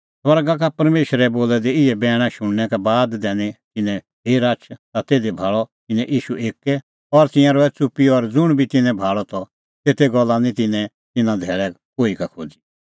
स्वर्गा का परमेशरे बोलै दै इहै बैणा शुणनै का बाद दैनी तिन्नैं फेर आछ ता तिधी भाल़अ तिन्नैं ईशू एक्कै और तिंयां रहै च़ुप्पी और ज़ुंण बी तिन्नैं भाल़अ त तेते गल्ला निं तिन्नैं तिन्नां धैल़ै कोही का खोज़ी